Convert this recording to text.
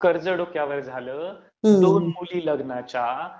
कर्ज डोक्यावर आलं, दोन मुली लग्नाच्या